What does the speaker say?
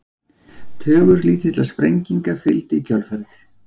Tugur lítilla sprenginga fylgdi í kjölfarið.